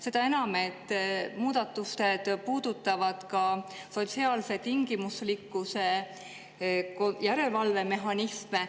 Seda enam, et muudatused puudutavad ka sotsiaalse tingimuslikkuse järelevalve mehhanisme.